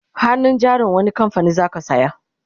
hannun jarin wani kamfanin zaka saya?